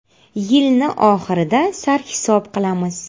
Yilni oxirida sarhisob qilamiz.